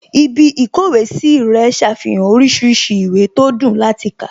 Ibí ìkówèé sí rẹ̀ ṣàfihàn oríṣiríṣi ìwé tó dùn láti kà